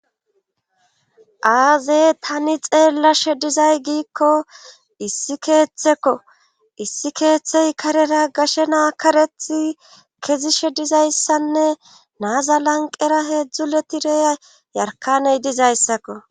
aazey tani xeellashe dizay giikko issi keeththekko issi keeththey karera gashe naa karethi kezishe dizayssanne naazalanqera heedzdzu letireya yarkaney dizayssakko